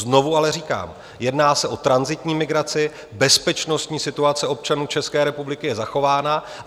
Znovu ale říkám: Jedná se o tranzitní migraci, bezpečnostní situace občanů České republiky je zachována.